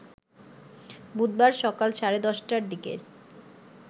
বুধবার সকাল সাড়ে ১০টার দিকে